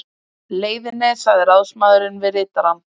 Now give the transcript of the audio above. leiðinni sagði ráðsmaðurinn við ritarann